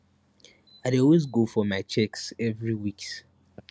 i dey always go for my checks every weeks